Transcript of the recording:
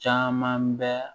Caman bɛ